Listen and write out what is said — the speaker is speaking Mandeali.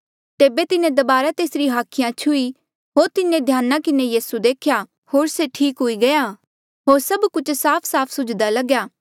तेबे तिन्हें दबारा तेसरी हाखिया छुही होर तिन्हें ध्याना किन्हें यीसू देख्या होर से ठीक हुई गया होर सब कुछ साफसाफ सुझ्दा लग्या